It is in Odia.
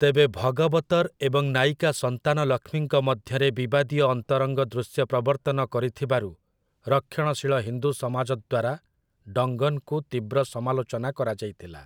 ତେବେ ଭଗବତର୍ ଏବଂ ନାୟିକା ସନ୍ତାନଲକ୍ଷ୍ମୀଙ୍କ ମଧ୍ୟରେ ବିବାଦୀୟ ଅନ୍ତରଙ୍ଗ ଦୃଶ୍ୟ ପ୍ରବର୍ତ୍ତନ କରିଥିବାରୁ ରକ୍ଷଣଶୀଳ ହିନ୍ଦୁ ସମାଜ ଦ୍ୱାରା ଡଙ୍ଗନ୍‌ଙ୍କୁ ତୀବ୍ର ସମାଲୋଚନା କରାଯାଇଥିଲା ।